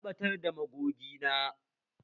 Na ɓatar da magogi na